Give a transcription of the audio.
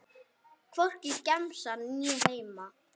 Hvorki í gemsann né heima.